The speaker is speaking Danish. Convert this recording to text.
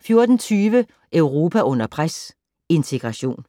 14:20: Europa under pres - integration